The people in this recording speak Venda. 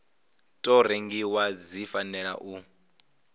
tou rengiwa dzi fanela u